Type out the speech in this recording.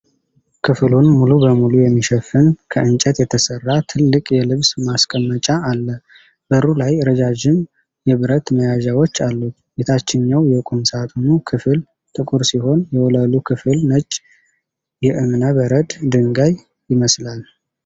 ክፍሉን ሙሉ በሙሉ የሚሸፍን፣ ከእንጨት የተሰራ ትልቅ የልብስ ማስቀመጫ አለ። በሩ ላይ ረዣዥም የብረት መያዣዎች አሉት። የታችኛው የቁም ሳጥኑ ክፍል ጥቁር ሲሆን የወለሉ ክፍል ነጭ የእብነ በረድ ድንጋይ ይመስላል።